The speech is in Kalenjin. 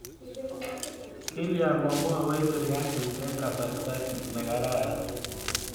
Kilya ma mwoiwech sirikalit eng' kasarta ne kararan?